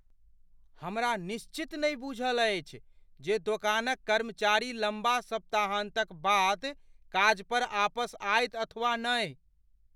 हमरा निश्चित नहि बूझल अछि जे दोकानक कर्मचारी लम्बा सप्ताहान्तक बाद काजपर आपस आयत अथवा नहि।